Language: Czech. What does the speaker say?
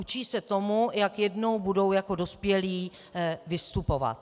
Učí se tomu, jak jednou budou jako dospělí vystupovat.